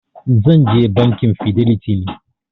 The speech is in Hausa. Zan je Bankin fidelity ne.